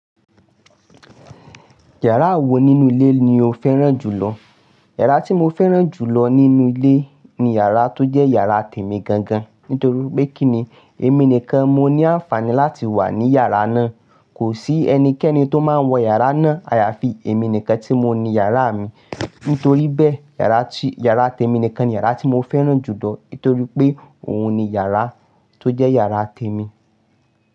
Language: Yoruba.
Yàrá wo nínú ilé ni o fẹ́ràn jùlọ? Yàrá tí mo fẹ́ràn jù lọ nínú ilé ni yàrá tó jẹ́ yàrá tèmi gan gan. Nítorí pé kíni èmi nìkan moní àǹfààní láti wà ní yàrá náà. Kò sí ẹnikẹ́ni tó máa ń wọ yàrá náà. Àyàfi èmi nìkan tí mo ni yàrá mi. Nítorí bẹ́, yàrá tí, yàrá tèmi nìkan ni yàrá tí mo fẹ́ràn jù lọ. Nítorí pé òun ni yàrá tó jẹ́ yàrá tèmi.